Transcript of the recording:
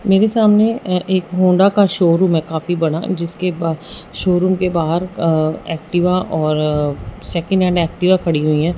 मेरे सामने अ एक होंडा का शोरूम है काफी बड़ा जिसके ब शोरूम के बाहर अ एक्टिवा और सेकंड हैंड एक्टिवा खड़ी हुई है।